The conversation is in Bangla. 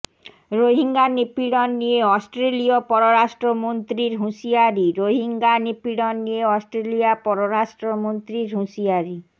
রোহিঙ্গা নিপীড়ন নিয়ে অস্ট্রেলীয় পররাষ্ট্রমন্ত্রীর হুঁশিয়ারি রোহিঙ্গা নিপীড়ন নিয়ে অস্ট্রেলীয় পররাষ্ট্রমন্ত্রীর হুঁশিয়ারি